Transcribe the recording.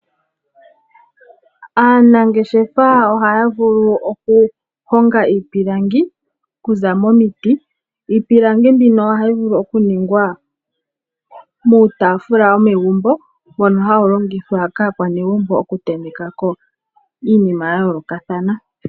Aanangeshefa ohaavulu okulonga iipilangi okuza momiti ,niipilangi ohayilongitwa okuninga ngaashi; iitafula mbono hawulongitha kaakwanegumbo okutentekako iinima ya yoolokathana.